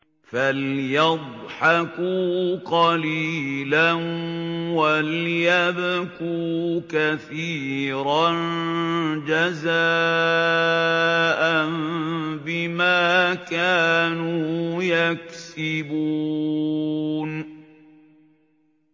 فَلْيَضْحَكُوا قَلِيلًا وَلْيَبْكُوا كَثِيرًا جَزَاءً بِمَا كَانُوا يَكْسِبُونَ